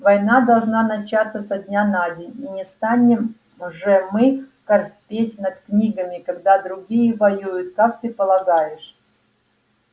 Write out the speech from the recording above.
война должна начаться со дня на день и не станем же мы корпеть над книгами когда другие воюют как ты полагаешь